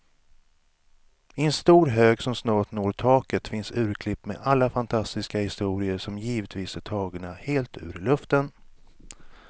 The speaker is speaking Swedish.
I en stor hög som snart når taket finns urklipp med alla fantastiska historier, som givetvis är tagna helt ur luften.